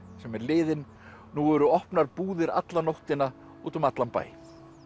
sem er liðin nú eru opnar búðir alla nóttina út um allan bæ